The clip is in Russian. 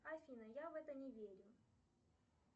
афина я в это не верю